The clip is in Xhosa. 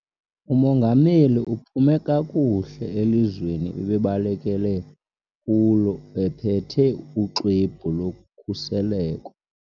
Umongameli uphume kakuhle elizweni ebebalekele kulo ephethe uxwebhu lokhuseleko.